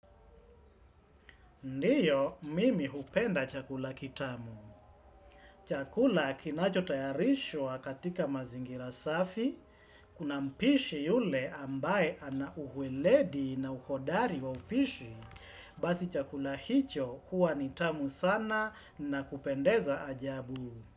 Ndiyo, mimi hupenda chakula kitamu. Chakula kinacho tayarishwa katika mazingira safi. Kuna mpishi yule ambaye ana uheledi na uhodari wa upishi. Basi chakula hicho huwa ni tamu sana na kupendeza ajabu.